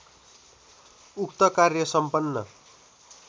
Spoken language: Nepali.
उक्त कार्य सम्पन्न